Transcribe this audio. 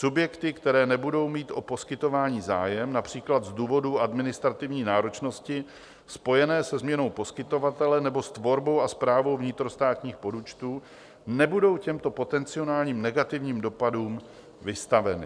Subjekty, které nebudou mít o poskytování zájem, například z důvodu administrativní náročnosti spojené se změnou poskytovatele nebo s tvorbou a správou vnitrostátních podúčtů, nebudou těmto potenciálním negativním dopadům vystaveny.